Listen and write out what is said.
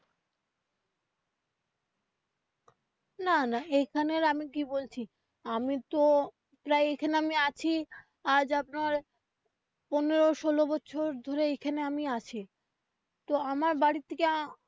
না না এইখানে আমি কি বলছি আমি তো প্রায় এখানে আমি আছি আজ আপনার পনেরো ষোলো বছর ধরে এইখানে আমি আছি তো আমার বাড়ি থেকে.